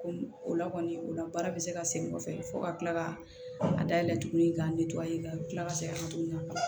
Ko o la kɔni o la baara bɛ se ka segin kɔfɛ fo ka kila ka a dayɛlɛ tuguni ka ka kila ka segin ka na tuguni